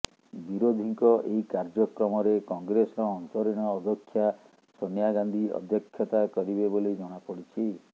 ବିରୋଧୀଙ୍କ ଏହି କାର୍ଯ୍ୟକ୍ରମରେ କଂଗ୍ରେସର ଅନ୍ତରୀଣ ଅଧ୍ୟକ୍ଷା ସୋନିଆ ଗାନ୍ଧୀ ଅଧ୍ୟକ୍ଷତା କରିବେ ବୋଲି ଜଣାପଡିଛି